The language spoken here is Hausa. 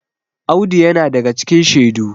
Audu yana daga cikin shedu